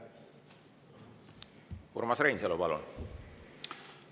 Urmas Reinsalu, palun!